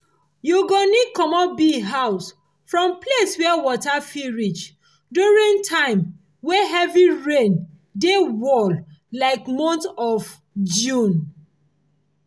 you go need commot bee house from place where water fit reach during time way heavy rain dey wall like month of june.